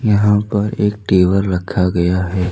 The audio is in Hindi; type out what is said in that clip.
यहां पर एक टेबल रखा गया है।